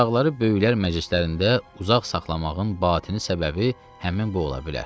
uşaqları böyüklər məclislərində uzaq saxlamağın batini səbəbi həmin bu ola bilər.